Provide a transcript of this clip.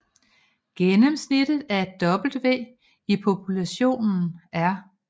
Gennemsnittet af W i populationen er